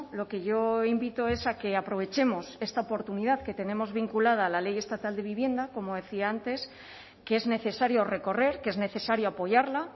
lo que yo invito es a que aprovechemos esta oportunidad que tenemos vinculada a la ley estatal de vivienda como decía antes que es necesario recorrer que es necesario apoyarla